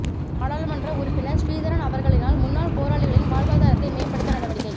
நாடாளுமன்ற உறுப்பினர் சிறீதரன் அவர்களினால் முன்னாள் போராளிகளின் வாழ்வாதாரத்தை மேம்படுத்த நடவடிக்கை